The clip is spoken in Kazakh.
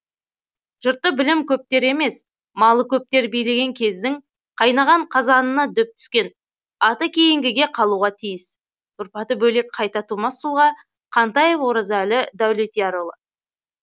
жұртты білім көптер емес малы көптер билеген кездің қайнаған қазанына дөп түскен аты кейінгіге қалуға тиіс тұрпаты бөлек қайта тумас тұлға қантаев оразәлі даулетиярұлы